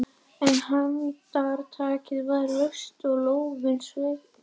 En handtakið var laust og lófinn sveittur.